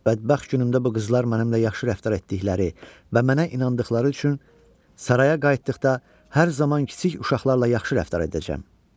Bədbəxt günümdə bu qızlar mənimlə yaxşı rəftar etdikləri və mənə inandıqları üçün saraya qayıtdıqda hər zaman kiçik uşaqlarla yaxşı rəftar edəcəm.